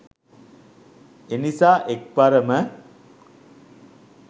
එනිසා එක්වරම